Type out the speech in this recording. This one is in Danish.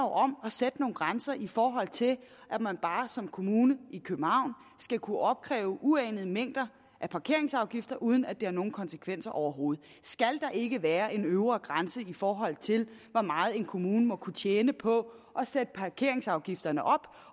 om at sætte nogle grænser i forhold til at man bare som kommune skal kunne opkræve uanede mængder parkeringsafgifter uden at det har nogen konsekvenser overhovedet skal ikke være en øvre grænse i forhold til hvor meget en kommune må kunne tjene på at sætte parkeringsafgifterne op